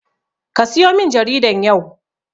Kasiyo min jaridan yau.